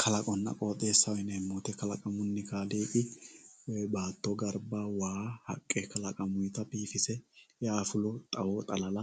Kalaqonna qooxxeessaho yineemmo woyte kalaquni kaaliiqi baatto garba waa haqqe mitto biifise eafulo xawo xalala